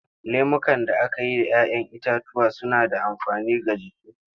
Lemukan da aka yi da 'ya 'yan itatuwa suna da amfani ga jiki.